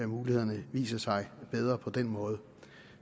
mulighederne viser sig bedre på den måde